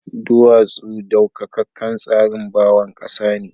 Duwatsu daukakan tsarin bawon kasa ne.